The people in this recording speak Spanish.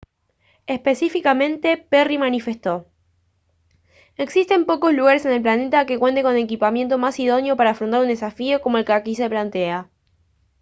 específicamente perry manifestó: «existen pocos lugares en el planeta que cuenten con equipamiento más idóneo para afrontar un desafío como el que aquí se plantea»